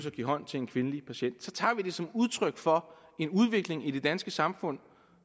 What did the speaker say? at give hånd til en kvindelig patient så tager vi det som udtryk for en udvikling i det danske samfund